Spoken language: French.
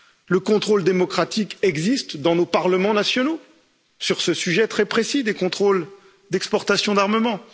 Le contrôle démocratique existe dans nos parlements nationaux sur ce sujet très précis des contrôles d'exportation d'armement.